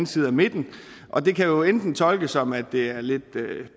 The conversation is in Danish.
side af midten og det kan jo enten tolkes som at det er lidt